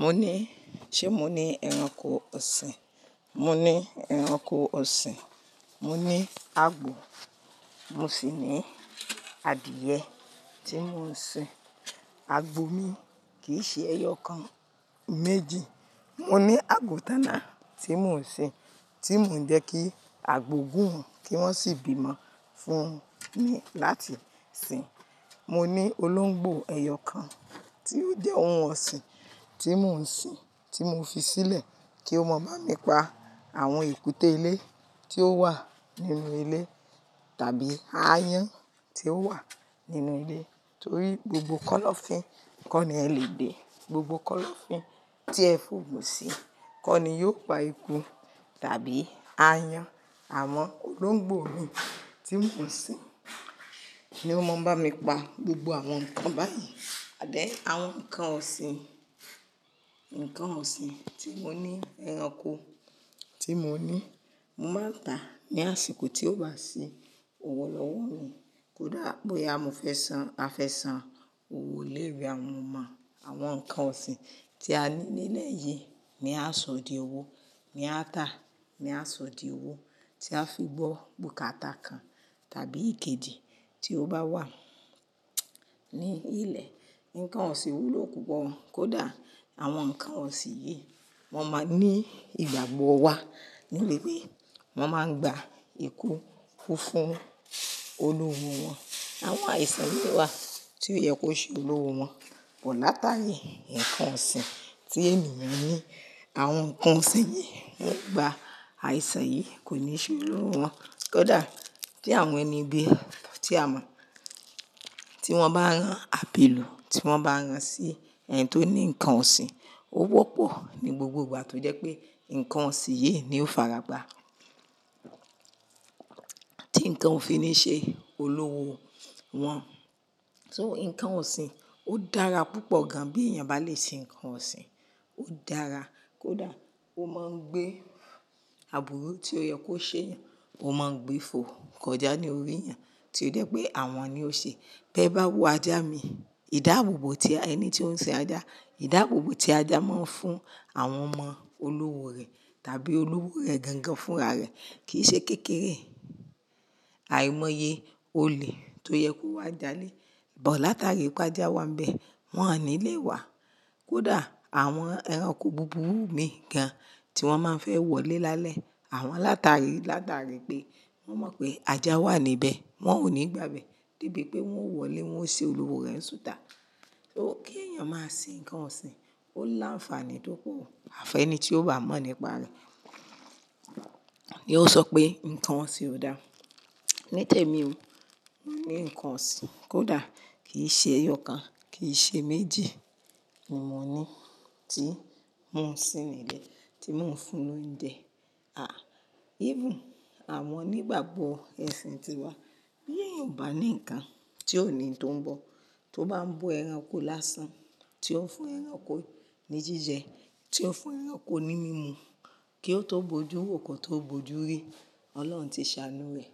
Mo ní, ṣé mo ní ẹranko ọ̀sìn? Mo ní ẹranko ọ̀sìn, mo ní àgbò, mo sì ní adìẹ tí mò ń sin. Àgbò mi kì í ṣe ẹyọ kan, méjì. Mo ní àgùntàn na tí mò ń sin, tí mò ń jẹ́ kí àgbò gùn kí wọ́n sì gbìmọ̀ fún ni láti sin. Mo ní olóńgbò ẹyọ kan tí ó jẹ́ ohun ọ̀sìn tí mò ń sin, tí mo fi sílẹ̀ kí ó mọ̀ báa mi pa àwọn ìkúté ilé tí ó wà nínú ilé tàbí ayan tí ó wà nínú ilé. Torí gbogbo kọ́lọ́fín kọ́ ni ẹ lè gbé, gbogbo kọ́lọ́fín tí ẹ fòògùn sí kọ́ ni yóò pa ikú tàbí ayan. Àwọn olóńgbò mi tí mò ń sin, ni ó máa ń bá mi pa gbogbo àwọn nǹkan báyìí. Àdíẹ̀ àwọn nǹkan ọ̀sìn, nǹkan ọ̀sìn tí mo ní, ẹranko tí mo ní, mo máa ń tà ní àsìkò tí ó bá sí òwolọ̀wọ́ mi. Kódà bóyá mo fẹ́ san, a fẹ́ san owó iléèwè àwọn ọmọ, àwọn nǹkan ọ̀sìn tí a ní nílẹ̀ yìí, ni a sọ di owó, mi a tà, ni a sọ di owó tí a fi gbọ́ bùkátà kan tàbí ìkejì tí ó bá wà ní ilẹ̀. Nǹkan ọ̀sìn wúlò púpọ̀. Kódà àwọn nǹkan ọ̀sìn yìí, wọ́n máa ń ní ìgbàgbọ́ wa, nílbi pé wọ́n máa ń gba ikú fún olowo wọn. Àwọn àìsàn mì wá, tí ó yẹ kó ṣe olówó wọn. Pọ̀ látàrí nǹkan ọ̀sìn. Tí ènìyàn ní. Àwọn nǹkan ọ̀sìn yìí ń gba àìsàn yìí kò ní ṣe olowo wọn. Kódà kí àwọn ẹni bí ẹ, tí a mọ̀, tí wọ́n bá rán àbilu tí wọ́n bá rán sí ẹni tó ní nǹkan ọ̀sìn, ó wọ́pọ̀ ní gbogbo ìgbà tó jẹ́ pé nǹkan ọ̀sìn yìí ni ó faragbá tí nǹkan òfin níí ṣe, olówó wọn. So nǹkan ọ̀sìn, ó dára púpọ̀ gan an bí èèyàn bá lè sin nǹkan ọ̀sìn, ó dára. Kódà, ó máa ń gbé àbúrò tí ó yẹ kó ṣe èèyàn, ó máa ń gbé ìfòǹkọjá ní orí èèyàn tí ó jẹ́ pé àwọn ni ó ṣe. Bí ẹ bá wo ajá mi, ìdáàbòbò tí ẹni tí ó ń sin ajá, ìdáàbòbò tí ajá máa ń fún àwọn ọmọ olówó rẹ̀ tàbí olówò rẹ̀ gangan fúnra rẹ̀ kì í ṣe kékeré. Àìmọye olè tó yẹ kó wá jalé, bọ̀ látàrí pé ajá wà níbẹ̀, wọ́n ní lè wá. Kódà àwọn ẹranko búburú mì gàn wọ́n máa ń fẹ́ wọlé lálẹ́, àwọn látàrí látàrí pé wọ́n mọ̀ pé ajá wà níbẹ̀, wọ́n ò ní gbàgbé díbi pé wọ́n ó wọlé wọ́n ṣe olúwo rẹ̀ sútà. So kí èèyàn máa sin nǹkan ọ̀sìn ó láǹfààní tó kù. Àfẹ́ ẹni tí ó bá mọ̀ nípa rẹ̀ ni yóò sọ pé nǹkan ọ̀sìn ò dáa. Nítẹ̀mi o, mo ní nǹkan ọ̀sìn kódà kì í ṣe ẹyọ kan, kì í ṣe méjì ni mo ní tí mò ń sin nílé, tí mò ń fún lóúnjẹ. À, even àwọn onígbàgbọ́ ẹ̀sìn tiwa, bí èèyàn bá ní nǹkan tí òní tó ń bọ̀ tó bá ń bo ẹranko lásán, tí ó fún ẹranko ní jíjẹ, tí ó fún ẹranko ní mímu kí ó tó bojú wòókọ̀ tó bojú rí, Ọlọ́run ti ṣàánú rẹ̀.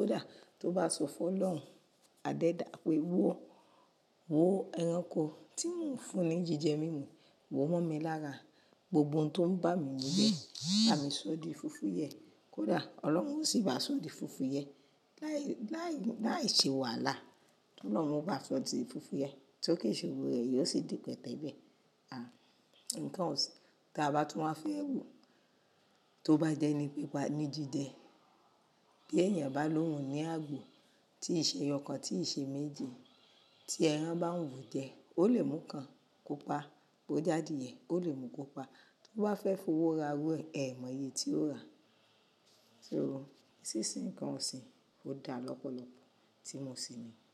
Kódà tó bá sọ fún Ọlọ́run. Adẹ́ẹ̀dá pé wò ó, wò ẹranko tí mò ń fún ní jíjẹ mímu, wò ó mọ́ mi lára, gbogbo ohun tó ń bà mí nílé, bà mí sọ di fufu yẹ. Kódà Ọlọ́run ó sì bá a sọ di fufu yẹ láì Láìṣe wàhálà, tí Ọlọ́run bá sọ di fufu yẹn, tí ó ke ísoro rẹ̀, yóò sì di pẹ̀tẹ̀ lẹ́. À, nǹkan ọ̀sìn, tí a bá tún máa fẹ́ wò tó bá jẹ́ ní pípa ní jíjẹ, bí èèyàn bá lóhun ní àgbò, tí ì ṣe ẹyọ kan, tí ì ṣe méjì. Tí ẹran bá ń wù ú jẹ, ó lè mú kan kó pa bó já adiìyẹ́, ó lè mú kó pa tó bá fẹ́ fowó ra rú e. Ẹ̀mọye tí ó rà. So, sísin nǹkan ọ̀sìn ó dára lọ́pọ̀lọpọ̀ tí mo sin ni.